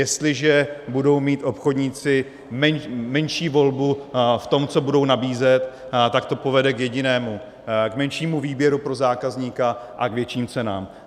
Jestliže budou mít obchodníci menší volbu v tom, co budou nabízet, tak to povede k jedinému - k menšímu výběru pro zákazníka a k větším cenám.